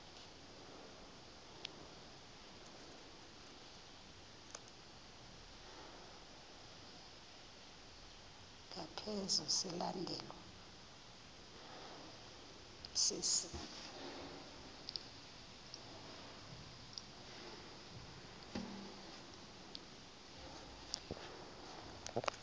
ngaphezu silandelwa sisi